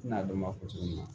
N'a dɔn k'a fɔ cogo min na